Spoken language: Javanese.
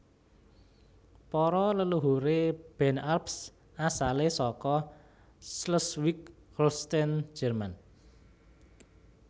Para leluhuré Ben Arps asalé saka Schleswig Holstein Jèrman